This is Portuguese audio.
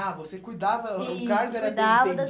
Ah, você cuidava... O cargo era Isso, cuidava das